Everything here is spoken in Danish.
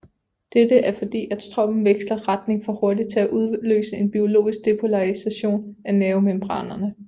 Dette er fordi at strømmen veksler retning for hurtig til at udløse en biologisk depolarisation af nervemembranerne